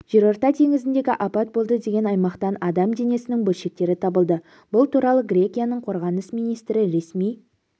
жерорта теңізіндегі апат болды деген аймақтан адам денесінің бөлшектері табылды бұл туралы грекияның қорғаныс министрі ресми